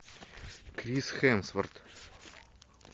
крис хемсворт